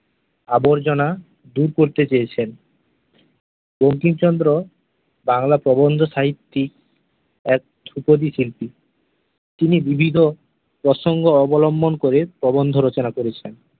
আবর্জনা দূর করতে চেয়েছেন । বঙ্কিমচন্দ্র বাংলা প্রবন্ধ সাহিত্যিক আহ ও কবিশিল্পী। তিনি বিবিধ প্রসঙ্গ অবলম্বন করে প্রবন্ধ রচনা করেছেন ।